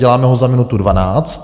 Děláme ho za minutu dvanáct.